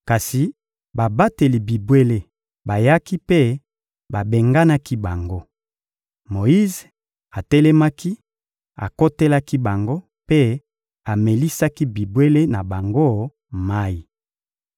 Kasi babateli bibwele bayaki mpe babenganaki bango. Moyize atelemaki, akotelaki bango mpe amelisaki bibwele na bango mayi.